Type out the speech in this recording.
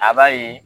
A b'a ye